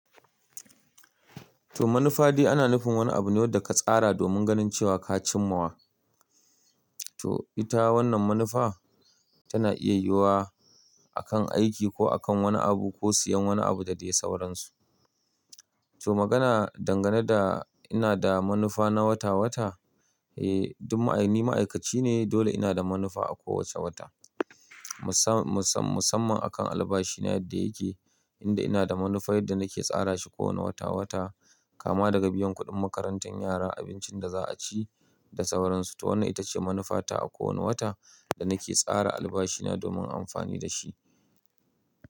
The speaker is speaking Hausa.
To manufa dai ana nufin wani abu ne wanda ka tsara domin ganin cewa ka cimma wa. To ita wannan manufa tana iya yiwuwa a kan aiki ko a kan wani abu ko siyan wani abu da dai sauransu. To magana dangane da ina da manufa na wata-wata, eh ni ma'aikaci ne dole inada manufa a kowace wata. Musamman a kan albashina yadda yake, inda ina da manufa yadda nake tsara shi kowane wata-wata kama daga biyan kuɗin makarantar yara, abincin da za a ci da sauransu. To wannan ita ce manufata a kowana wata da nake tsara albashina domin amfani da shi.